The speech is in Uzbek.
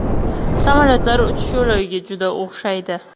Samolyotlar uchish yo‘lagiga juda o‘xshaydi.